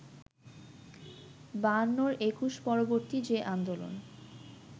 বায়ান্নর একুশ-পরবর্তী যে আন্দোলন